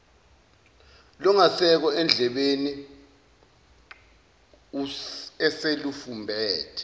lungasekho endlebeni eselufumbethe